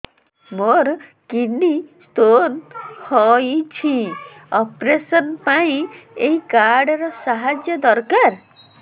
ମୋର kidney stone ହଇଛି operation ପାଇଁ ଏହି କାର୍ଡ ର ସାହାଯ୍ୟ ଦରକାର